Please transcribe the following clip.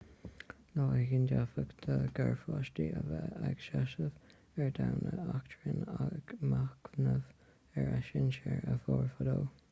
lá éigin d'fhéadfadh do gharpháistí a bheith ag seasamh ar dhomhan eachtráin ag machnamh ar a sinsir a mhair fadó